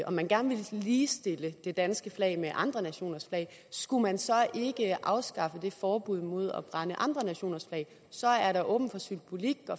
og man gerne vil ligestille det danske flag med andre nationers flag skulle man så ikke afskaffe det forbud mod at brænde andre nationers flag så er der åbent for symbolik